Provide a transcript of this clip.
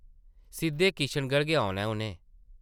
सिद्धे किशनगढ़ गै औना ऐ, उʼनें ।